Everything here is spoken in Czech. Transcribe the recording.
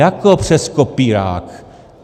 Jako přes kopírák.